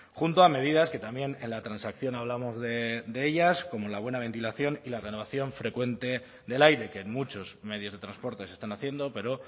junto a medidas que también en la transacción hablamos de ellas como la buena ventilación y la renovación frecuente del aire que en muchos medios de transporte se están haciendo pero